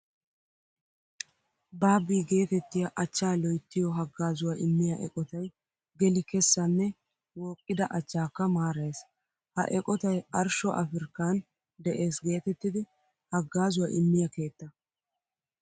Baabbii geetettiya achchaa loyttiyo haggaazuwa immiya eqotay geli kessa nne wooqqida achchaakka maarayees. Ha eqotay arshsho Afriikkan de'es geetettida haggaazuwa immiya keetta.